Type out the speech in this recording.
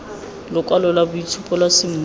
lokwalo lwa boitshupo lwa semmuso